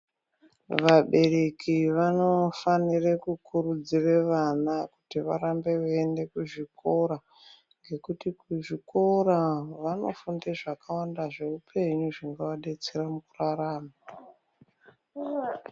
Vabereki vanofanire kukurudzire vana kuti varambe veienda kuzvikora nekuti kuzvikora vanofunde zvakawanda zveupenyu zvingavadetsere mukurarama.